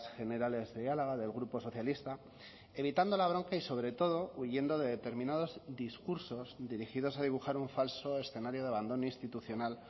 generales de álava del grupo socialista evitando la bronca y sobre todo huyendo de determinados discursos dirigidos a dibujar un falso escenario de abandono institucional